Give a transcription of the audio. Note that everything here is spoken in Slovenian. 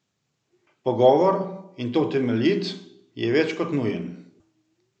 Pogovor, in to temeljit, je več kot nujen!